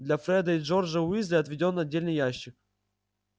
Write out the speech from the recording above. для фреда и джорджа уизли отведён отдельный ящик